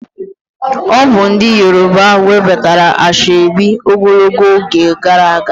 Obu ndi yoruba webatara Ashoebi ogologo oge gara aga